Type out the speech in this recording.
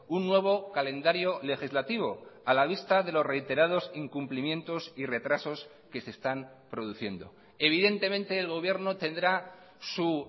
un nuevo calendario legislativo a la vista de los reiterados incumplimientos y retrasos que se están produciendo evidentemente el gobierno tendrá su